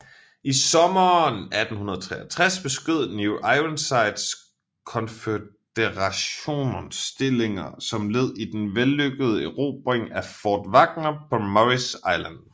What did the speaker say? I sommeren 1863 beskød New Ironsides Konføderationens stillinger som led i den vellykkede erobring af Fort Wagner på Morris Island